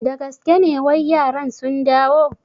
Da gaske ne wai yaran sun dawo?